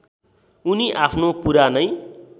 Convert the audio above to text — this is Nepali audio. उनी आफ्नो पुरानै